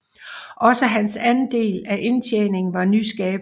Også hans andel af indtjeningen var nyskabende